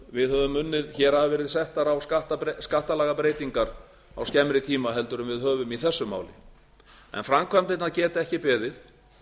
við höfum unnið hér hafa verið settar á skattalagabreytingar á skemmri tíma en við höfum í þessu máli en framkvæmdirnar geta ekki beðið